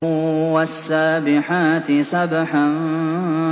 وَالسَّابِحَاتِ سَبْحًا